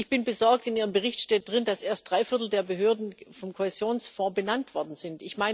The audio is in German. Ich bin besorgt In Ihrem Bericht steht, dass erst drei Viertel der Behörden vom Kohäsionsfonds benannt worden sind.